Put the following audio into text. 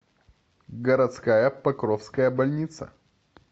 городская покровская больница